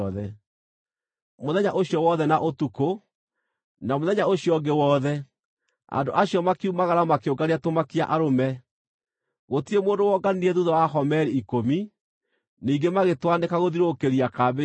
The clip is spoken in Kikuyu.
Mũthenya ũcio wothe na ũtukũ, na mũthenya ũcio ũngĩ wothe, andũ acio makiumagara makĩũngania tũmakia-arũme. Gũtirĩ mũndũ wonganirie thuutha wa homeri ikũmi. Ningĩ magĩtwanĩka gũthiũrũrũkĩria kambĩ yothe.